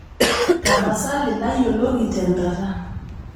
tapasali ntayioloki tenkata